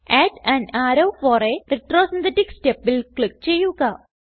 add an arrow for a retrosynthetic stepൽ click ചെയ്യുക